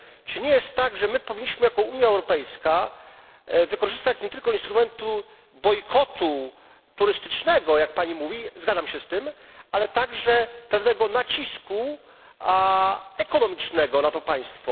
Czy nie jest tak, że my powinniśmy jako Unia Europejska skorzystać nie tylko z instrumentu bojkotu turystycznego jak Pani mówi, zgadzam się z tym ale także wywrzeć pewien nacisk ekonomiczny na to państwo?